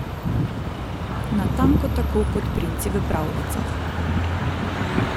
Natanko tako kot princi v pravljicah.